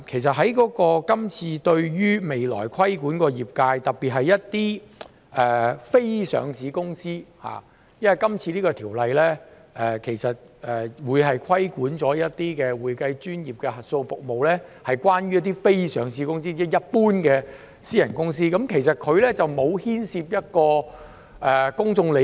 第二，未來規管的業界涉及一些非上市公司，《條例草案》會規管的一些會計專業的核數服務涉及非上市公司，即一般的私人公司，其實當中並沒有牽涉公眾利益。